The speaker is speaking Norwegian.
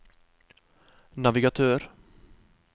navigatør